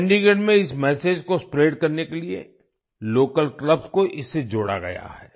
चंडीगढ़ में इस मेसेज को स्प्रेड करने के लिए लोकल क्लब्स को इससे जोड़ा गया है